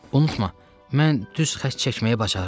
Unutma, mən düz xətt çəkməyi bacarıram.